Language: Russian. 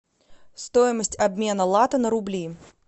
стоимость обмена лата на рубли